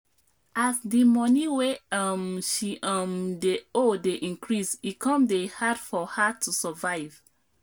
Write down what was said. as the money wey um she um dey owe dey increase e come dey hard for her to survive